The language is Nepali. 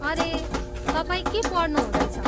अरे, तपाईँ के पढ्नु हुँदैछ?